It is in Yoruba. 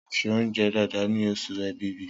Ronke ṣe oúnjẹ dáadáa ní oṣù èbìbí